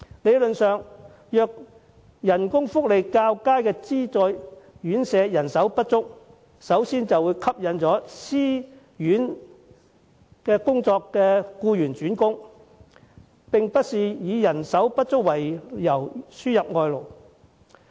理論上，工資福利較佳的資助院舍如有空缺，會吸引私營院舍工作的僱員轉工，無需以人手不足為由輸入外勞。